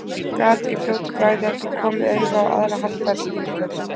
Gat í fljótu bragði ekki komið auga á aðra haldbæra skýringu.